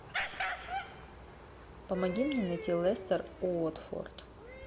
помоги мне найти лестер уотфорд